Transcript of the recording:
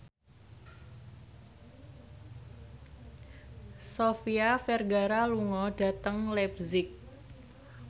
Sofia Vergara lunga dhateng leipzig